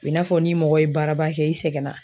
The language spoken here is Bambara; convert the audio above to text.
I n'a fɔ n'i mɔgɔ ye baaraba kɛ i sɛgɛnna